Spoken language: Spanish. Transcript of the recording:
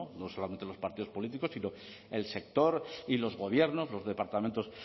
no solamente los partidos políticos sino el sector y los gobiernos los departamentos